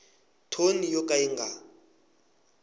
thoni yo ka yi nga